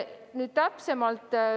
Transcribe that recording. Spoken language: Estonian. Nüüd täpsemalt.